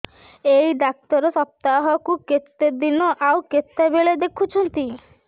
ଏଇ ଡ଼ାକ୍ତର ସପ୍ତାହକୁ କେତେଦିନ ଆଉ କେତେବେଳେ ଦେଖୁଛନ୍ତି